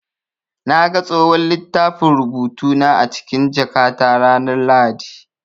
Na ga tsohon littafin rubutu na a cikin jakata ranar Lahadi.